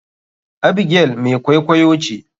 Abigail mai kwaikwaiyo ce.